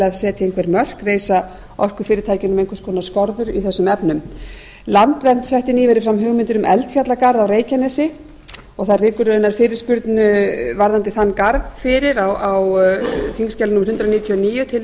að setja einhver mörk reisa orkufyrirtækjunum einhvers konar skorður í þessum efnum landvernd setti nýverið fram hugmyndir um eldfjallagarð á reykjanesi og það liggur raunar fyrirspurn varðandi þann garð fyrir á þingskjali hundrað níutíu og níu til